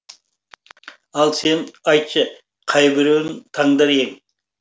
ал сен айтшы қайбіреуін таңдар ең